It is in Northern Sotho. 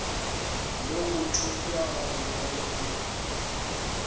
le go thopša gabonolo ke